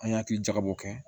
An y'a hakili jagabɔ kɛ